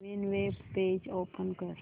नवीन web page open कर